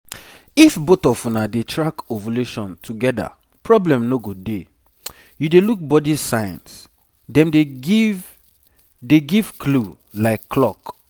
if both of una dey track ovulation together problem no go dey. you dey look body signs dem dey give dey give clue like clock.